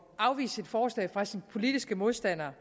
afvise et forslag fra sine politiske modstandere